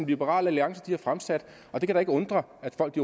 liberal alliance har fremsat og det kan da ikke undre at folk